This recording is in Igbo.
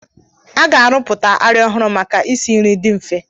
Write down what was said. A ga-arụpụta arịa ọhụrụ maka isi nri dị mfe.